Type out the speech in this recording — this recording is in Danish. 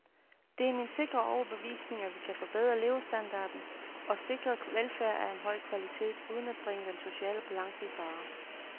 Det er min sikre overbevisning, at vi kan forbedre levestandarden og sikre velfærd af høj kvalitet uden at bringe den sociale balance i fare.